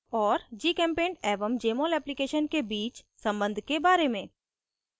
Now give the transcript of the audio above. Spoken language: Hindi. और gchempaint एवं jmol application के बीच सम्बन्ध के बारे में